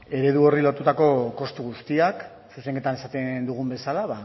eredu horri lotutako kostu guztiak zuzenketan esaten dugun bezala